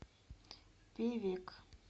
певек